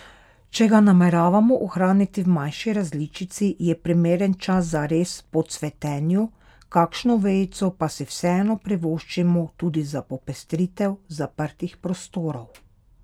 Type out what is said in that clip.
Če ga nameravamo ohraniti v manjši različici, je primeren čas za rez po cvetenju, kakšno vejico pa si vseeno privoščimo tudi za popestritev zaprtih prostorov.